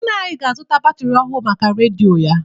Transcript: Nna anyị ga-azụta batịrị ọhụ maka redịo ya.